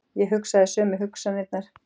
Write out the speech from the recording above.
Ég hugsaði sömu hugsanirnar.